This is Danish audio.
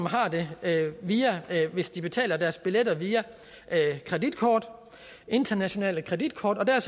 har det hvis de betaler deres billetter via kreditkort internationale kreditkort og der er